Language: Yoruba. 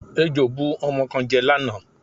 Ejò bu ọmọ kan jẹ lánàá.